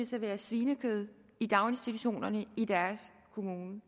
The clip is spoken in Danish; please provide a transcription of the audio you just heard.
serveres svinekød i daginstitutionerne i deres kommune